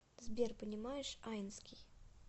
сбер понимаешь айнский